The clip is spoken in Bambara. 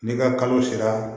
N'i ka kalo sera